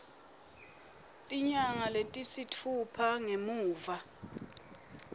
tinyanga letisitfupha ngemuva